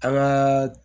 An ka